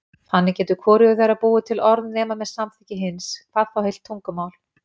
Þannig getur hvorugur þeirra búið til orð nema með samþykki hins, hvað þá heilt tungumál.